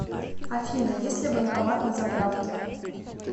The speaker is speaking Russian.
афина есть ли банкомат на заправке